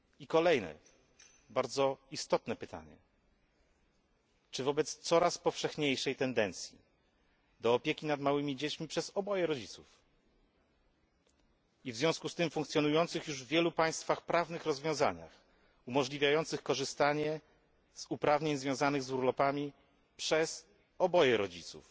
Kolejne bardzo istotne pytanie czy wobec coraz powszechniejszej tendencji do opieki nad małymi dziećmi przez oboje rodziców i w związku z tym wobec funkcjonujących już w wielu państwach prawnych rozwiązaniach umożliwiających korzystanie z uprawnień związanych z urlopami przez oboje rodziców,